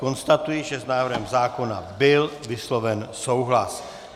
Konstatuji, že s návrhem zákona byl vysloven souhlas.